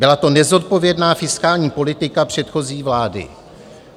Byla to nezodpovědná fiskální politika předchozí vlády.